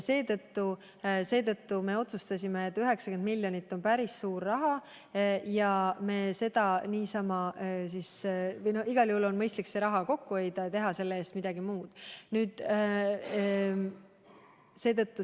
Seetõttu me otsustasime, et kuna 90 miljonit eurot on päris suur summa, on igal juhul mõistlik see raha kokku hoida ja teha selle eest midagi muud.